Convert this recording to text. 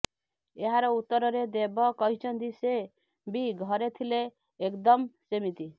ଏହାର ଉତ୍ତରରେ ଦେବ କହିଛନ୍ତି ସେ ବି ଘରେ ଥିଲେଏକ୍ଦମ୍ ସେମିତି